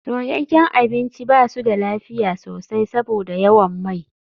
Soyayyen abinci ba su da lafiya sosai saboda yawan mai.